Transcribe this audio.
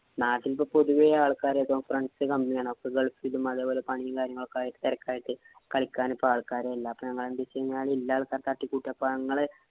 നാട്ടില്‍ ഒക്കെ പൊതുവേ ആള്‍ക്കാര് ഇപ്പൊ friend ഉം, company ആണ്. അപ്പൊ ഗള്‍ഫില് പോലെ പണീം കളിക്കാന്‍ ഇപ്പം ആള്‍ക്കാരും ഇല്ല. അപ്പൊ ഞങ്ങള് എന്തു വച്ചാല് ഉള്ള ആള്‍ക്കാരെ തട്ടിക്കൂട്ടി. അപ്പൊ ഞങ്ങള്